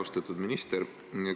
Austatud minister!